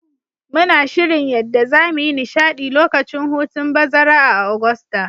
Muna shirin yadda zamu yi nishadi lokacin hutun bazara a'Augusta.